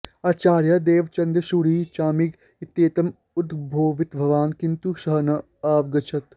आचार्यः देवचन्द्रसूरिः चामिग इत्येतम् उद्बोधितवान् किन्तु सः न आवगच्छत्